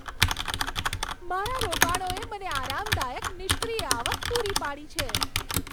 મારા રોકાણોએ મને આરામદાયક નિષ્ક્રિય આવક પૂરી પાડી છે.